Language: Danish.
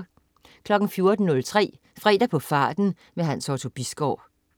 14.03 Fredag på farten. Hans Otto Bisgaard